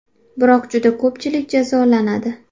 Biroq, juda ko‘pchilik jazolanadi.